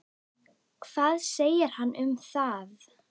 Hvað segir hann um það?